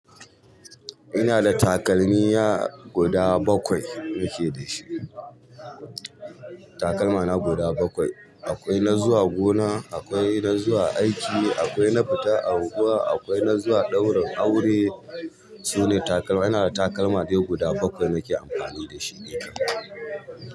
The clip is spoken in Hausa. Ina da takalmiya guda bakwai nake da shi. Takalma na guda bakwai. Akwai na zuwa gona, akwai na zuwa aiki, akwai na fita unguwa, akwai na zuwa ɗaurin aure. Sune takalma ina da takalma dai guda bakwai nake amfani dashi dai kan.